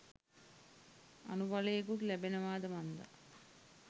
අනුබලයකුත් ලැබෙනවාද මන්දා.